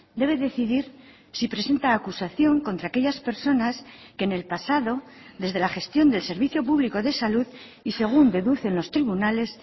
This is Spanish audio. debe decidir si presenta acusación contra aquellas personas que en el pasado desde la gestión del servicio público de salud y según deducen los tribunales